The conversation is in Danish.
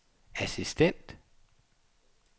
assistent